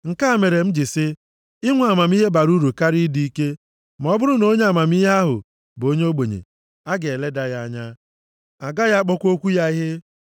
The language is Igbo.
Nke a mere m ji sị, inwe amamihe bara uru karịa ịdị ike, ma ọ bụrụ na onye amamihe ahụ bụ onye ogbenye, a ga-eleda ya anya, a gaghị akpọkwa okwu ya ihe.